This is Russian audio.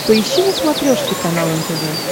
поищи на смотрешке канал нтв